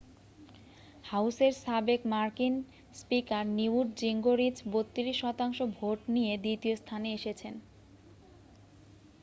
হাউসের সাবেক মার্কিন স্পিকার নিউট জিঙ্গরিচ 32 শতাংশ ভোট নিয়ে দ্বিতীয় স্থানে এসেছেন